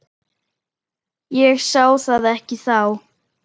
Ég sá það ekki þá.